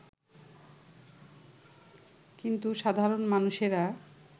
কিন্তু সাধারণ মানুষেরা